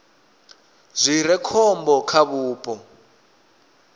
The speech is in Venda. zwi re khombo kha vhupo